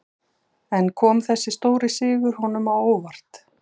En kom þessi stóri sigur honum á óvart?